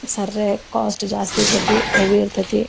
ಸರ್ರೆ cost ಜಾಸ್ತಿ ಇರ್ತತಿ heavy ಇರ್ತತಿ.